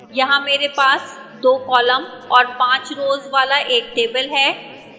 यहां here पास 2 columns और 5 rows वाला एक table है